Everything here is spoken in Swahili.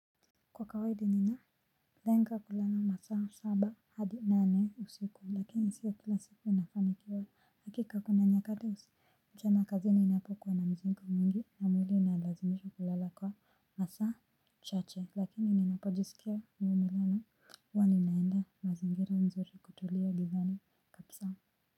Kwa kawaida nina lenga kulala masaa saba hadi nane usiku lakini sio kila siku nafanikiwa. Hakika kuna nyakati mchana kazi ninapokuwa na mzigo mwingi na mwili inalazimishwa kulala kwa masaa chache lakini ninapojisikia nimelala huwa ninaenda mazingira nzuri kutulia gizani kabisa.